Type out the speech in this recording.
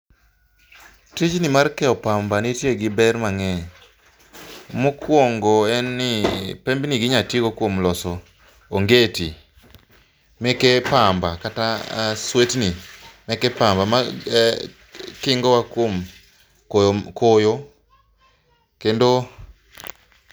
Tijni mar keyo pamba nitie gi ber mang'eny. Mokuongo en ni pembnigi inya tii go kuom loso ongeti meke pamba kata swetni meke pamba makingo kuom koyo koyo kendo.